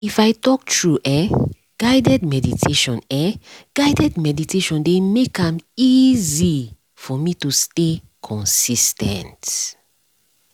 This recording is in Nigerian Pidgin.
if i talk true eh guided meditation eh guided meditation dey make am easy for me to stay consis ten t